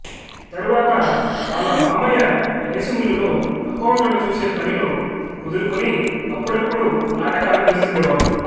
తరువాత వాళ్ళ మామయ్య రైస్ మిల్లులో అకౌంట్లను చూసే పనిలో కుదురుకుని అప్పుడప్పుడు నాటకాలు వేస్తుండేవాడు